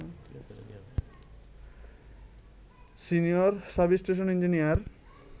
senior sub station engineer